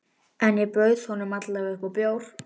Friðrik var orðinn dasaður, þegar þeir voru komnir á loft.